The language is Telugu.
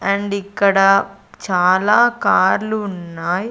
అండ్ ఇక్కడ చాలా కార్లు ఉన్నాయి.